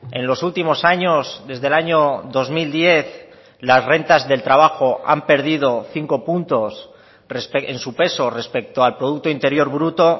en los últimos años desde el año dos mil diez las rentas del trabajo han perdido cinco puntos en su peso respecto al producto interior bruto